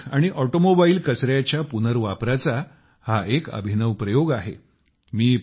electronic आणि automobile कचऱ्याच्या पुनर्वापराचा हा एक अभिनव प्रयोग आहे